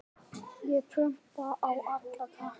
Ég prumpa á alla krakka.